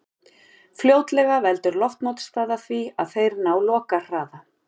Fljótlega veldur loftmótstaða því að þeir ná lokahraða.